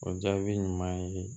O jaabi ɲuman ye